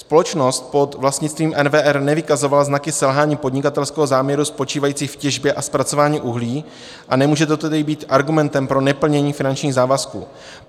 Společnost pod vlastnictvím NWR nevykazovala znaky selhání podnikatelského záměru spočívajícího v těžbě a zpracování uhlí, a nemůže toto tedy být argumentem pro neplnění finančních závazků.